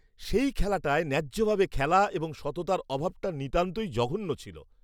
সেই খেলাটায় ন্যায্যভাবে খেলা এবং সততার অভাবটা নিতান্তই জঘন্য ছিল।